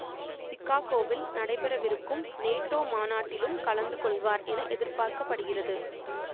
சிக்காகோவில் நடைபெறவிருக்கும் நேட்டோ மாநாட்டிலும் கலந்து கொள்வார் என எதிர்பார்க்க படுகிறது